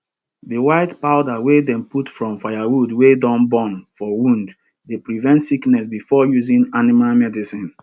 di white powder wey dem put from firewood wey don burn for wound dey prevent sickness before using animal medicine